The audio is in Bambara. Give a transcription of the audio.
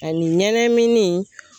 Ani ɲɛnɛmini.